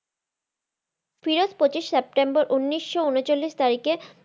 ফিরোজ পঁচিশ সেপ্টেম্বর উনিশশো ঊনচল্লিশ তারিখে